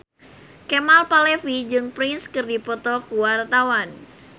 Kemal Palevi jeung Prince keur dipoto ku wartawan